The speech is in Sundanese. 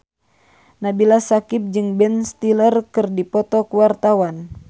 Nabila Syakieb jeung Ben Stiller keur dipoto ku wartawan